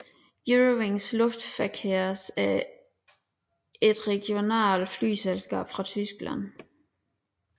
Eurowings Luftverkehrs er et regionalt flyselskab fra Tyskland